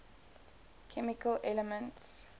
chemical elements